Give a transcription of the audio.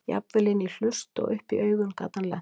Jafnvel inn í hlust og upp í augun gat hann lent.